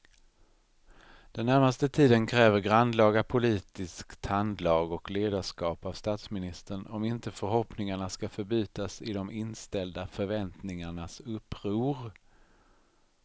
Den närmaste tiden kräver grannlaga politiskt handlag och ledarskap av statsministern om inte förhoppningarna ska förbytas i de inställda förväntningarnas uppror.